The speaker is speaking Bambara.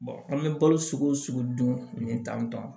an bɛ balo sugu dun nin tan tɔn